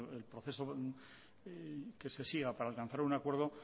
el proceso que se siga para alcanzar un acuerdo